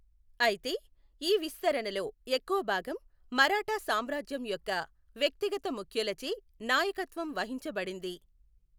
అయితే, ఈ విస్తరణలో ఎక్కువ భాగం మరాఠా సామ్రాజ్యం యొక్క వ్యక్తిగత ముఖ్యులచే నాయకత్వం వహించబడింది.